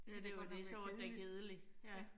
Det ville godt nok kedeligt. Ja